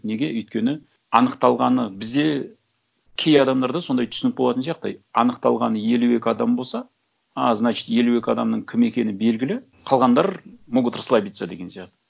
неге өйткені аңықталғаны бізде кей адамдарда сондай түсінік болатын сияқты аңықталған елу екі адам болса а значит елу екі адамның кім екені белгілі қалғандар могут расслабиться деген сияқты